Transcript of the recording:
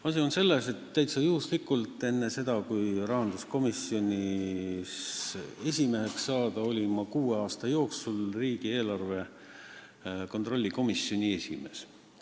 Asi on selles, et täiesti juhuslikult olin ma enne seda, kui ma rahanduskomisjonis esimeheks sain, kuue aasta jooksul riigieelarve kontrolli komisjoni esimees.